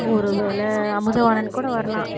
ஒருவேளை அமுதவாணன் கூட வரலாம்